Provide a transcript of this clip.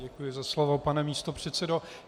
Děkuji za slovo, pane místopředsedo.